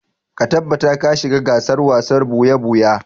Ka tabbata ka shiga gasar wasar ɓuya-ɓuya!